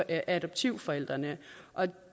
af adoptivforældrene